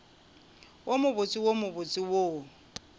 wo mobotse wo mobose wo